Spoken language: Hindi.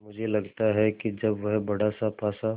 मुझे लगता है कि जब वह बड़ासा पासा